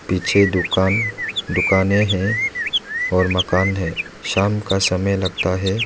पीछे दुकान दुकाने हैं और मकान है शाम का समय लगता है।